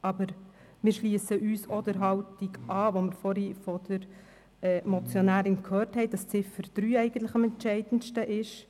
Aber wir schliessen uns der Haltung der Motionärin an, wonach eigentlich die Ziffer 3 am entscheidendsten ist.